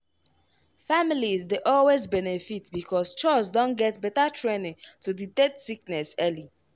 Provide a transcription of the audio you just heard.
families dey always benefit because chws don get better training to detect sickness early.